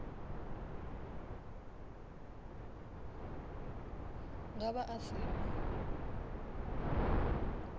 nga vha a si na